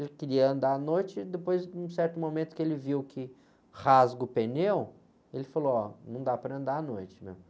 Ele queria andar à noite, depois num certo momento que ele viu que rasga o pneu, ele falou, ó, não dá para andar à noite mesmo.